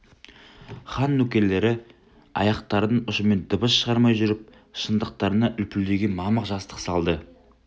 хан нөкерлері аяқтарының ұшымен дыбыс шығармай жүріп шынтақтарына үлпілдеген мамық жастық салды